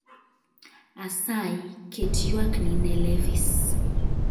asayi ket ywakni ne levis